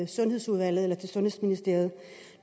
sundhedsudvalget eller sundhedsministeriet